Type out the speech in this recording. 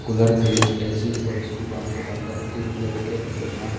Cooler fridge AC और उस दुकान के अंदर तीन लड़के खड़े हैं।